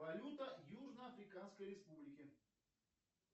валюта южно африканской республики